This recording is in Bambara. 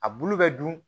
A bulu bɛ dun